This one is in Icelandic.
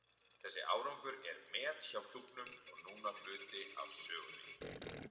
Þessi árangur er met hjá klúbbnum og núna hluti af sögunni.